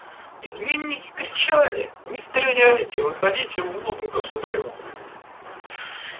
изменники кричали не стреляйте выходите вон к государю